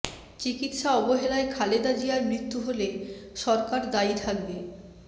চিকিৎসা অবহেলায় খালেদা জিয়ার মৃত্যু হলে সরকার দায়ী থাকবে